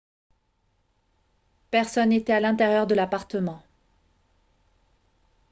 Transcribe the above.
personne n'était à l'intérieur de l'appartement